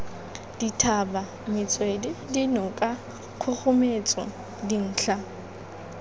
dithaba metswedi dinoka kgogometso dintlha